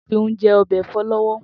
Tobi n jè òbè èfò lòwò